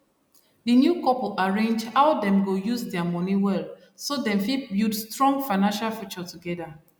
di new couple arrange how dem go use their money well so dem fit build strong financial future together